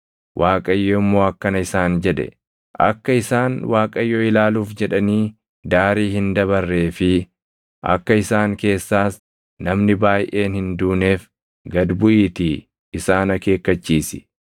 Waaqayyo immoo akkana isaan jedhe; “Akka isaan Waaqayyo ilaaluuf jedhanii daarii hin dabarree fi akka isaan keessaas namni baayʼeen hin duuneef gad buʼiitii isaan akeekkachiisi.